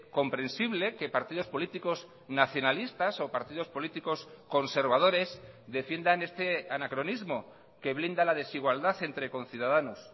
comprensible que partidos políticos nacionalistas o partidos políticos conservadores defiendan este anacronismo que blinda la desigualdad entre conciudadanos